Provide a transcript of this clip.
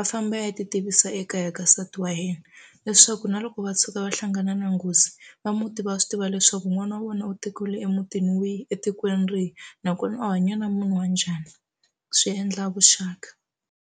a famba a ya ti tivisa ekaya ka nsati wa yena leswaku na loko va tshuka va hlangana na nghozi va muti va swi tiva leswaku n'wana wa vona u tekiwile emutini wihi etikweni rihi nakona u hanya na munhu wa njhani swi endla vuxaka.